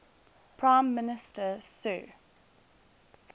prime minister sir